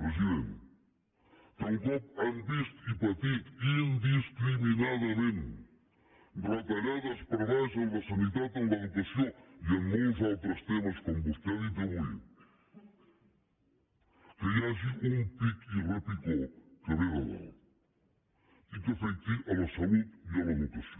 president que un cop han vist i patit indiscriminadament retallades per sota en la sanitat en l’educació i en molts altres temes com vostè ha dit avui que hi hagi un pic i repicó que ve de dalt i que afecti la salut i l’educació